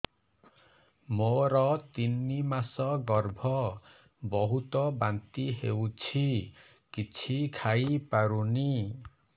ମୋର ତିନି ମାସ ଗର୍ଭ ବହୁତ ବାନ୍ତି ହେଉଛି କିଛି ଖାଇ ପାରୁନି